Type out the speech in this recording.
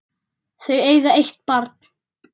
Þau eiga eitt barn.